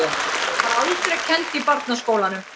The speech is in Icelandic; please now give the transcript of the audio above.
Hún var aldrei kennd í barnaskólunum.